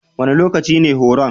Wane lokaci ne horon?